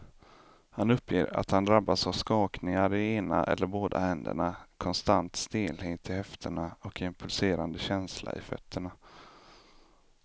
Han uppger att han drabbas av skakningar i ena eller båda händerna, konstant stelhet i höfterna och en pulserande känsla i fötterna.